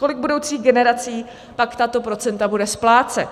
Kolik budoucích generací pak tato procenta bude splácet?